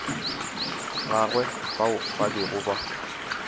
gagwe bao ba bego ba